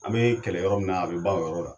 An bɛ kɛlɛ yɔrɔ min na, a bɛ ban o yɔrɔ la!